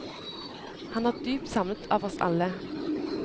Han er dypt savnet av oss alle.